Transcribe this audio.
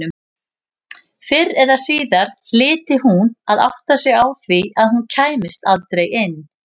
Fyrr eða síðar hlyti hún að átta sig á því að hún kæmist aldrei inn.